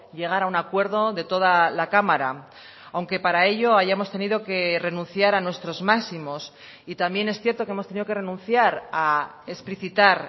llegar a un acuerdo de toda la cámara aunque para ello hayamos tenido que renunciar a nuestros máximos y también es cierto que hemos tenido que renunciar a explicitar